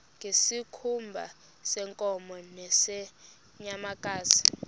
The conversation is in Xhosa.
ngezikhumba zeenkomo nezeenyamakazi